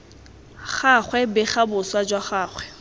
gagwe bega boswa jwa gagwe